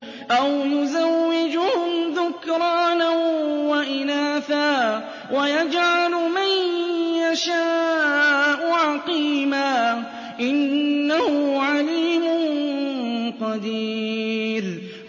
أَوْ يُزَوِّجُهُمْ ذُكْرَانًا وَإِنَاثًا ۖ وَيَجْعَلُ مَن يَشَاءُ عَقِيمًا ۚ إِنَّهُ عَلِيمٌ قَدِيرٌ